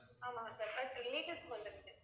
ஆமாங்க sir but relatives க்கு வந்துருக்கு